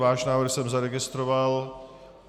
Váš návrh jsem zaregistroval.